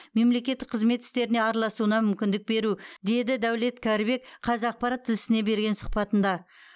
мемлекеттік қызмет істеріне араласуына мүмкіндік беру деді дәулет кәрібек қазақпарат тілшісіне берген сұхбатында